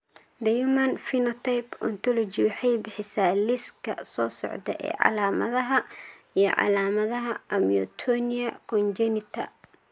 The Human Phenotype Ontology waxay bixisaa liiska soo socda ee calaamadaha iyo calaamadaha Amyotonia congenita.